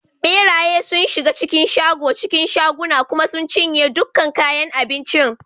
Ɓeraye sun shiga cikin shago cikin shaguna kuma sun cinye dukkan kayan abincin.